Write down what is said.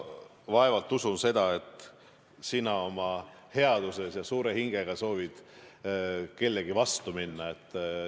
Ma vaevalt usun seda, et sina oma headuses ja suure hingega soovid kellegi vastu minna.